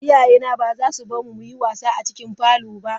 Iyayena ba za su bar mu mu yi wasa a cikin parlour ba.